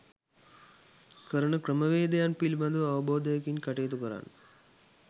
කරන ක්‍රමවේදයන් පිළිබඳව අවබෝධයකින් කටයුතු කරන්න.